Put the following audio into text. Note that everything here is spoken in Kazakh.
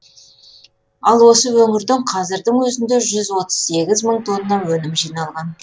ал осы өңірден қазірдің өзінде жүз отыз сегіз мың тонна өнім жиналған